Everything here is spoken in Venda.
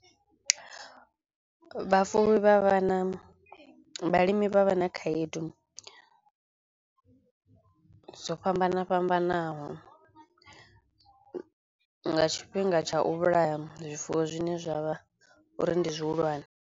Vhafuwi vha vha na vhalimi vha vha na khaedu dzo fhambana fhambanaho nga tshifhinga tsha u vhulaya zwifuwo zwine zwa vha uri ndi zwihulwane.